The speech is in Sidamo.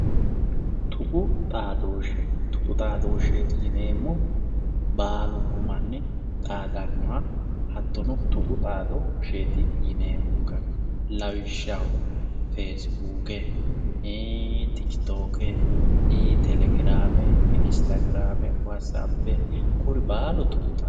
tuqu xaadooshshe tuqu xaadooshshe yineemmohu baalunku manni xaadannoha hattono tuqu xaadooshsheeti yineemmonka lawishshaho fesibuuke tuqu xaadooshsheeti yineemmohu baalunku manni xaadannoha hattono tuqu xaadoshsheeti yineemmonkanni